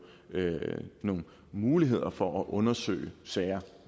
er nogle muligheder for at undersøge sager